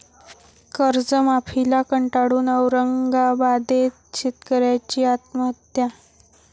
कर्जमाफीला कंटाळून औरंगाबादेत शेतकऱ्याची आत्महत्या